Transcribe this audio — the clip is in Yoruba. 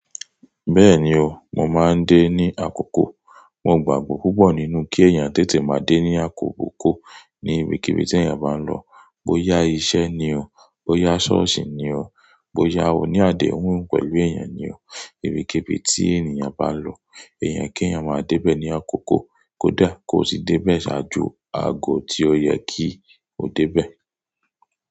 Bẹ́ẹ̀ni o, mo máa ń dé ní àkókò. Mo gbàgbọ́ púpọ̀ nínú kí ẹ̀yàn tètè máa dé ní àkókò kó ní ibikíbi tí èèyàn bá ń lọ. Bo ya iṣẹ́ ni o, bo ya ṣọ́ọ̀ṣì ni o, bo ya oníàdẹ́hùn pẹ̀lú èèyàn ni o, ibikíbi tí ènìyàn bá lọ, èèyàn kí ẹ̀yàn máa dé bẹ̀ ní àkókò kódà kó ti dé bẹ̀ ṣáájú ago tí ó yẹ kí o dé bẹ̀.